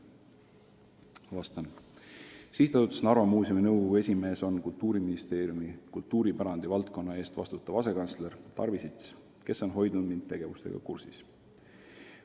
" Sihtasutuse Narva Muuseum nõukogu esimees on Kultuuriministeeriumi kultuuripärandi valdkonna eest vastutav asekantsler Tarvi Sits, kes on hoidnud mind kogu tegevusega kursis.